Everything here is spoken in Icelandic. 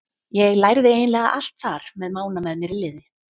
Ég lærði eiginlega allt þar með Mána með mér í liði.